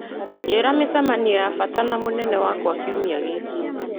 njĩĩra mĩcemanio ya bata na mũnene wakwa kiumia gĩkĩ